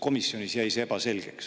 Komisjonis jäi see ebaselgeks.